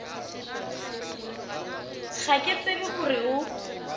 ga ke tsebe gore o